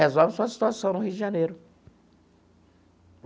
Resolve sua situação no Rio de Janeiro.